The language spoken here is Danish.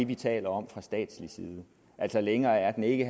vi taler om fra statslig side altså længere er den ikke